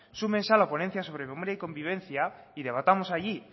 súmense a la ponencia sobre paz y convivencia y debatamos allí